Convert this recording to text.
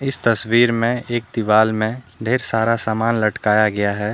इस तस्वीर में एक दीवाल में ढ़ेर सारा समान लटकाया गया है।